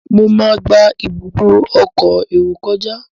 Mọ má gbà Ibùdó ọkọ̀ èrò kọjá.